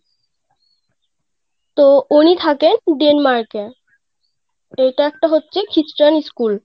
তো উনি থাকে Denmark এ এটা একটা হচ্ছে খ্রিস্টান স্কুল